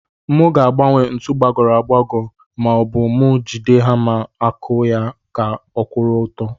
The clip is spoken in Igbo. Mu ga agbanwe ntu gbagoro agbago ma obu mu jide hama aku ya ka ọkwuru ọtọ.